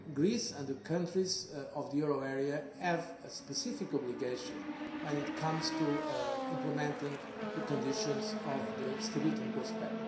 Greece and the countries of the euro area have a specific obligation when it comes to implementing the conditions of the Stability and Growth Pact.